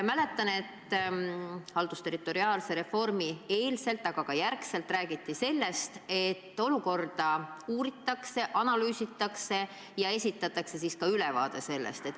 Mäletan, et haldusterritoriaalse reformi eelselt, aga ka järgselt räägiti sellest, et olukorda uuritakse, analüüsitakse ja esitatakse siis ülevaade.